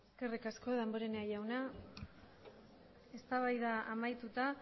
eskerrik asko damborenea jauna eztabaida amaituta